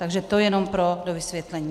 Takže to jenom pro dovysvětlení.